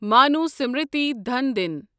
منوسمرتی ڈھان دِنۍ